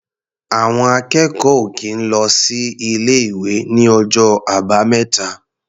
Àwọn akẹ́kọ̀ọ́ ò kì í lọ sí ilé-ìwé ní ọjọ́ Àbámẹ́ta.